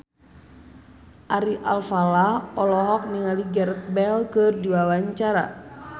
Ari Alfalah olohok ningali Gareth Bale keur diwawancara